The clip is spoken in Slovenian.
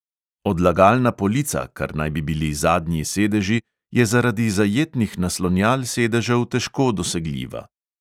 Odlagalna polica, kar naj bi bili zadnji sedeži, je zaradi zajetnih naslonjal sedežev težko dosegljiva.